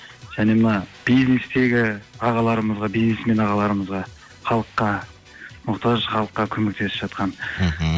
және мына бизнестегі ағаларымызға бизнесмен ағаларымызға халыққа мұқтаж халыққа көмектесіп жатқан мхм